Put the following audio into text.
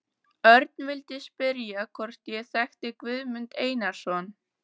Örn vildi spyrja hvort ég þekkti Guðmund Einarsson.